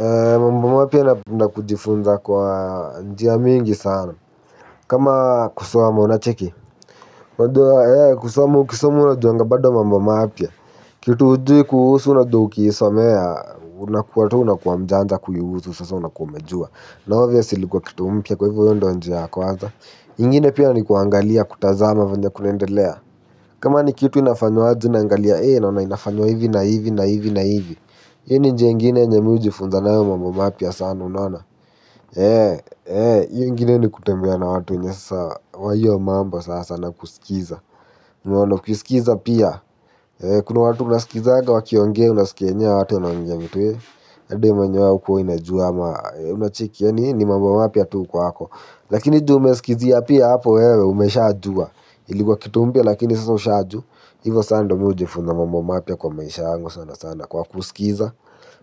Ambamo pia napenda kujifunza kwa njia mingi sana. Kama kusoma unacheki. Unajua e kusoma ukisoma unajuanga bado mambo mapya. Kitu hujui kuhusu unajua ukiisomea unakua tu unakua mjanja kuihusu sasa unakua umejua. Na obviously kwa kitu mpya kwa hivyo hiyo ndo njia ya kwanza. Ingine pia ni kuangalia kutazama venye kunaendelea. Kama ni kitu inafanywaje naangalia ee naona inafanywa hivi na hivi na hivi na hivi. Hiyo ni njia ingine yenye me hujifunza nayo mambo mapya sana unona. Eee, eee, hiyo ingine ni kutembea na watu wenye sasa wa hiyo mambo sasa na kusikiza unaoa ukisikiza pia. Kuna watu unasikizaga, wakiongea, unaskia enyewe, hawa watu wanaongea vitu e labda we mwenyewe haukua unajua ama unacheki yaani hii ni mambo mapya tu kwako. Lakini juu umesikizia pia hapo wewe umeshajua. Ilikuwa kitu mpya lakini sasa ushajua. Hivo saa ndo mi hujifunza mambo mapya kwa maisha yangu sana sana kwa kusikiza.